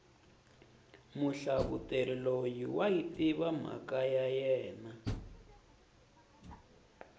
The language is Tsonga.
muhlavuteri loyi wayi tiva mhaka ya yena